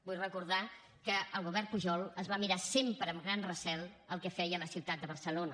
vull recordar que el govern pujol es va mirar sempre amb gran recel el que feia la ciutat de barcelona